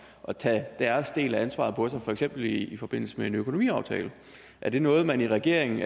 at tage deres del af ansvaret på sig for eksempel i forbindelse med en økonomiaftale er det noget man i regeringen